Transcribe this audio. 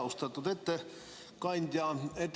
Austatud ettekandja!